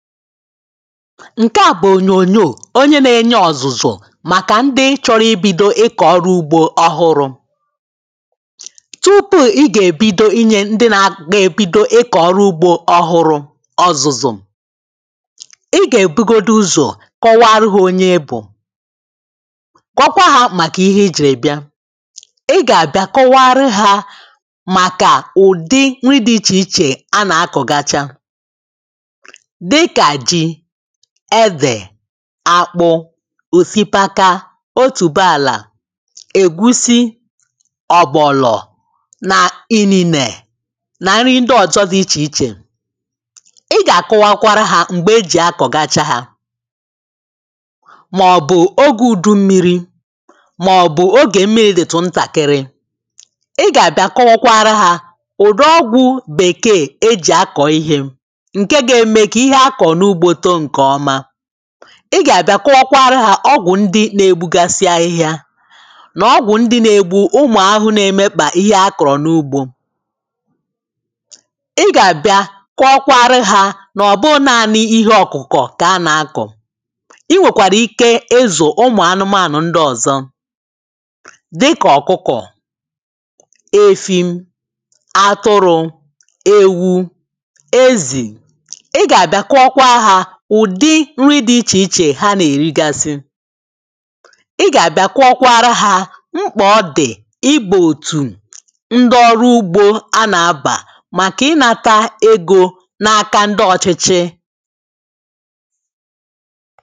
ǹke à bụ̀ ònyònyò onye na-enye ọ̀zụ̀zụ̀ màkà ndị chọrọ i bido ịkọ̀ ọrụ ugbȯ ọhụrụ̇ tupu ị gà-èbido inyè ndị na-abido ị kọ̀ọrụ ugbȯ ọhụrụ̇ ọzụzụ̀ ị gà-èbugodi ụzọ̀ kọwa arụ gị̇ onye bù kọ̀kwa hȧ màkà ihe i jìrì bịa ị gà-àbịa kọwa arụ hȧ màkà ụ̀dị nri dị̇ ichè ichè a nà-akọ̀gacha edè akpụ osikapa otùbe àlà ègusi ọ̀bọ̀lọ̀ n’ ini̇nè nà nri ndị ọzọ dị ichè ichè ị gà-àkọwakwara hȧ m̀gbè e jì akọ̀ gacha ha màọ̀bụ̀ ogė ùdu mmiri̇ màọ̀bụ̀ ogè mmiri̇ dị̀tụ̀ ntàkịrị ị gà-àbịa kọwakwa ara hȧ ụ̀dụ ọgwụ̇ bèkeè ejì akọ̀ ihė ị gà-àbịa kụọkwara ha ọgwụ ndị na-egbugasi ahịhịa nà ọgwụ ndị na-egbu ụmụ̀ ahụhụ na-emekpà ihe a kọ̀rọ̀ n’ugbȯ ị gà-àbịa kụọkwara ha nà ọ̀bụ naanị ihe ọ̀kụ̀kọ̀ kà a nà-akọ̀ i nwèkwàrà ike ezù ụmụ̀ anụmànụ̀ ndị ọ̀zọ dịkà ọ̀kụkọ̀ efi atụrụ ewu ezi ǹri dị̇ ichè ichè ha nà-èrigasị ị gà-àbịa kwụọ kwara hȧ mkpà ọ dị̀ igbò òtù ndị ọrụ ugbȯ anà-abà màkà ịnȧta egȯ na-aka ndị ọchịchị